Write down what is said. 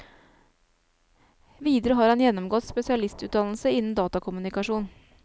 Videre har han gjennomgått spesialistutdannelse innen datakommunikasjon.